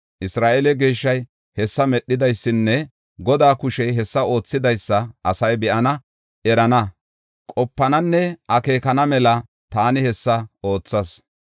Isra7eele Geeshshay hessa medhidaysanne Godaa kushey hessa oothidaysa asay be7ana, erana, qopananne akeekana mela taani hessa oothas.”